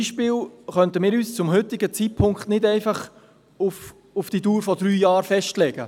Wir könnten uns zum heutigen Zeitpunkt zum Beispiel nicht einfach auf die Dauer von drei Jahren festlegen.